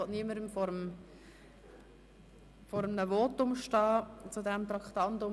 Doch ich will niemandem vor einem Votum zu diesem Traktandum stehen.